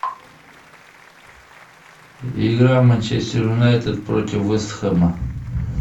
игра манчестер юнайтед против вест хэма